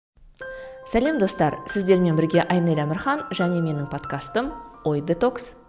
сәлем достар сіздермен бірге айнель әмірхан және менің подкастым ой детокс